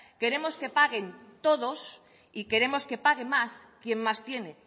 queremos que paguen todos y queremos que pague más quien más tiene